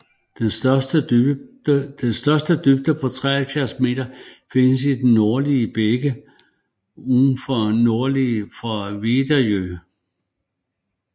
Den største dybde på 73 meter findes i det nordlige bækken lige norde for Vedjeön